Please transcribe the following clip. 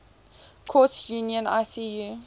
courts union icu